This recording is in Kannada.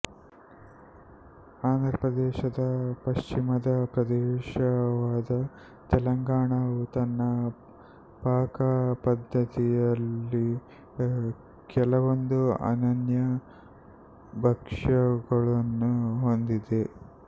ಆಂಧ್ರಪ್ರದೇಶದ ಪಶ್ಚಿಮದ ಪ್ರದೇಶವಾದ ತೆಲಂಗಾಣವು ತನ್ನ ಪಾಕಪದ್ಧತಿಯಲ್ಲಿ ಕೆಲವೊಂದು ಅನನ್ಯ ಭಕ್ಷ್ಯಗಳನ್ನು ಹೊಂದಿದೆ